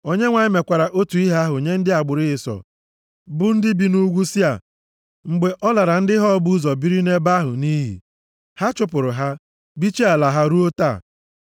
Onyenwe anyị mekwara otu ihe ahụ nye ndị agbụrụ Ịsọ bụ ndị bi nʼugwu Sia mgbe ọ lara ndị Hor bụ ụzọ biri nʼebe ahụ nʼiyi. Ha chụpụrụ ha, bichie ala ha ruo taa.